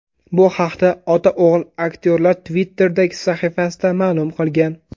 Bu haqda ota-o‘g‘il aktyorlar Twitter’dagi sahifasida ma’lum qilgan.